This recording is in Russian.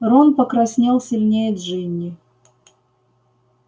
рон покраснел сильнее джинни